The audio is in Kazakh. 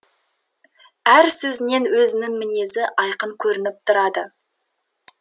әр сөзінен өзінің мінезі айқын көрініп тұрады